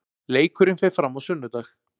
Leikurinn fer fram á sunnudag.